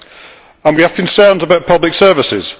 We also have concerns about public services